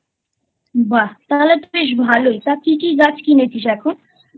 বাহ্ তাহলে তো বেশ ভালোই তা কি কি গাছ কিনেছিস এখন?